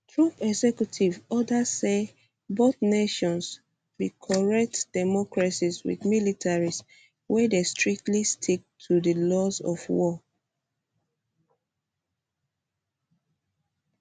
trump executive order say both nations [us and israel] be correct democracies with militaries wey dey strictly stick to di laws of war